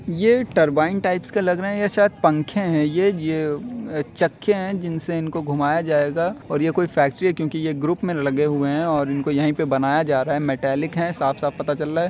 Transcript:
ये turbine types के लग रहे है या शायद पंखे हैंये ज ये ये चक्के हैं जिनसे इनको घुमाया जाएगा और ये कोई फेक्ट्री है क्यूंकि ये ग्रुप में लगे हुए हैं और इनको यहीं बनाया जा रहा है मटैलिक है साफ साफ पता चल रहा हैं।